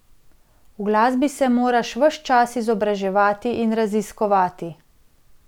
V glasbi se moraš ves čas izobraževati in raziskovati.